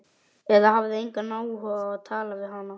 Eða hafði hann engan áhuga á að tala við hana?